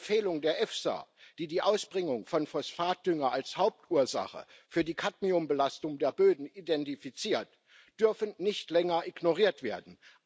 Die Empfehlungen der EFSA, die die Ausbringung von Phosphatdünger als Hauptursache für die Cadmiumbelastung der Böden identifiziert, dürfen nicht länger ignoriert werden.